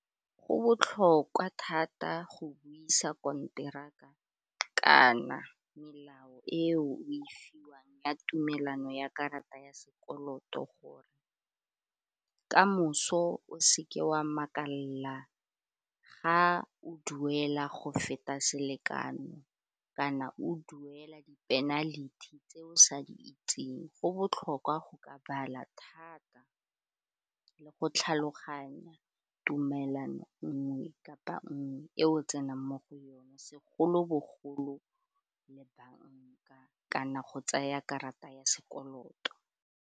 Go botlhokwa thata go buisa konteraka kana melao e o e fiwang ya tumelano ya karata ya sekoloto gore ka kamoso o seke wa makalela o duela go feta selekano kana o duela di penalty tse o sa di itseng go botlhokwa go ka bala thata le go tlhaloganya tumelano nngwe kapa nngwe e o tsenang mo go yona segolobogolo le banka kana go tsaya karata ya sekoloto.